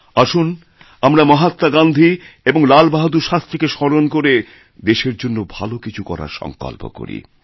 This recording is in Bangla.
আসুন আমরামহাত্মা গান্ধী এবং লাল বাহাদুর শাস্ত্রীকে স্মরণ করে দেশের জন্য ভালো কিছু করারসঙ্কল্প করি